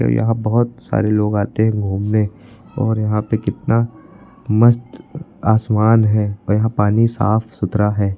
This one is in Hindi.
यहां बहुत सारे लोग आते हैं घूमने और यहां पे कितना मस्त आसमान है और यहां पानी साफ सुथरा है।